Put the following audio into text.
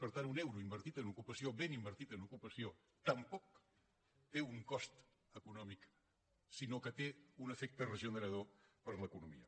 per tant un euro invertit en ocupació ben invertit en ocupació tampoc té un cost econòmic sinó que té un efecte regenerador per a l’economia